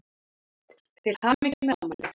Til hamingju með afmælið.